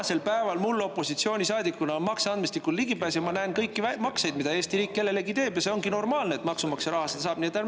Ka tänasel päeval on mul opositsioonisaadikuna ligipääs makseandmestikule ja ma näen kõiki makseid, mida Eesti riik kellelegi teeb, ja see ongi normaalne, et maksumaksja raha kohta seda näha saab.